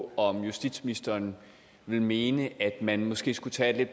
på om justitsministeren vil mene at man måske skulle tage en